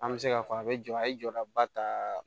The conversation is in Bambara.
An bɛ se k'a fɔ a bɛ jɔ a ye jɔdaba ta